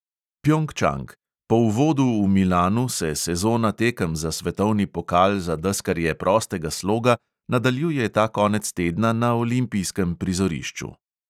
Pjongčang: po uvodu v milanu, se sezona tekem za svetovni pokal za deskarje prostega sloga nadaljuje ta konec tedna na olimpijskem prizorišču.